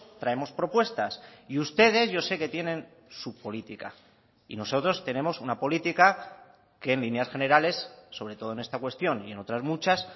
traemos propuestas y ustedes yo sé que tienen su política y nosotros tenemos una política que en líneas generales sobre todo en esta cuestión y en otras muchas